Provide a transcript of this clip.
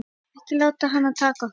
Ekki láta hana taka okkur.